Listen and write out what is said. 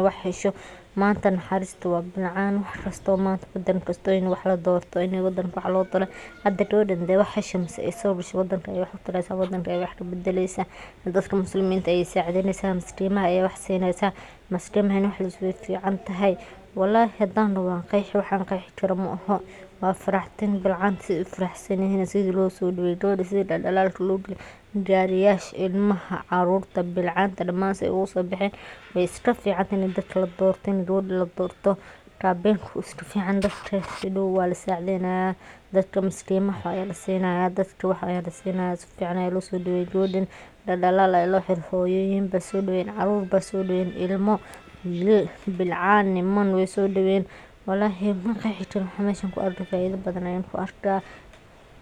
maaha manta naxarista waa bilcan in ladorto wadanka in wadanka wax lo taro wadanka ayey wax kabadeysa, waa faraxdin in bilcanta ee farxan maskimaha wax lo taro wax laqeexi karo maaha garisha ilmaha bilcanta se ugu sobaxen we iska ficantahay in dadka ladorto in gawada ladorto kabinka wu iska fican yahay hadow waa lisacidheynaya dadka maskimaha aya lasinaya dadka wax aya lasinaya sufican lo sodaweye daldalal ba lo xire hoyoyin ba sodaweynayan ilmo wilal bilcan niman we sodaqeyen, walahi waxa meshan kadacayo maqeexi kari meshan faidho badan ayan ayan ku arka.